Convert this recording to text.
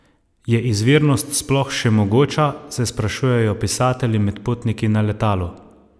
Je izvirnost sploh še mogoča, se sprašujejo pisatelji med potniki na letalu?